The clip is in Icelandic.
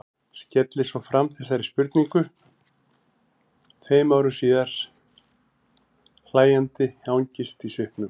Skellir svo fram þessari spurningu tveim árum síðar, hlæjandi angist í svipnum.